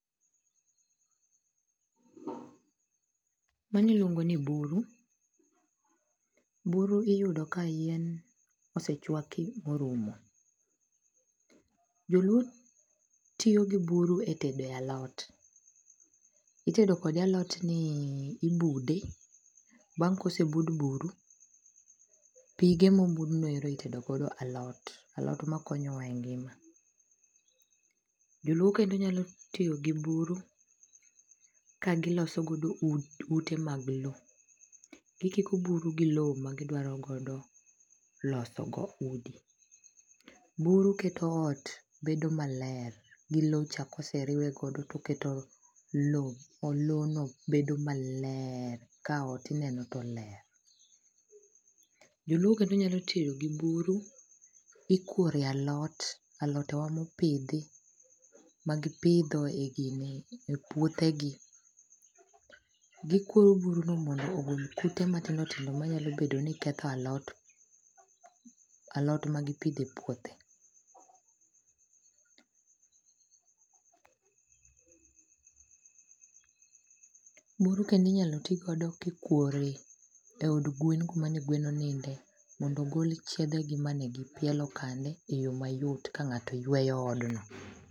Mani iluongo ni buru. Buru iyudo ka yien osechuaki orumo. Joluo tiyo gi buru etede alot. Itedo kode alotni ibude, bang kosebud buru, pige mobudnoero itedogodo alot. Alot makonyo wa e ngima. Joluo kende nyalo tiyo gi buru ka giloso godo ute mag lo. Gikiko buru gi lo ma gidwaro godo loso go udi. Buru keto ot bedo maler gi lo cha kose riwe godo toketo lo odlo no bedo maler. Ka ot ineno to ler. Joluo kata nyalo tiyo gi buru, ikworie alot. Alode wa mipidhi magipidho e gine e puothe gi. Gikuoyo buru no mondo ogol kute matindo tindo manyalo bedo ni ketho alot. Alot ma gipidho e puothe. Buru kendo inyalo ti godo kikwore e od gwen kumane gwen oninde mondo gol chiedhe gi mane gipielo kane eyo mayot ka ng'ato yueyo odno.